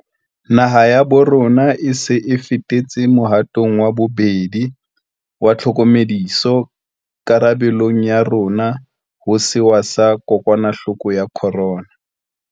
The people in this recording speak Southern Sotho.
Naha ya bo rona e se e fetetse mohatong wa bobedi wa tlhokomediso karabe long ya rona ho sewa sa kokwanahloko ya corona.